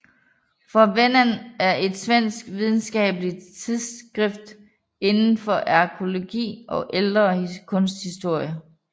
Fornvännen er et svensk videnskabeligt tidsskrift inden for arkæologi og ældre kunsthistorie